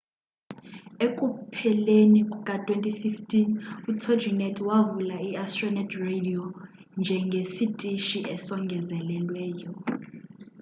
ekupheleni kuka-2015 utoginet wavula iastronet radio njengesitishi esongezelelweyo